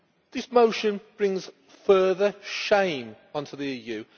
This motion brings further shame onto the EU.